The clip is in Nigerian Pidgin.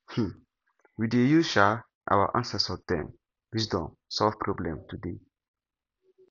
um we dey use um our ancestor dem wisdom solve problem today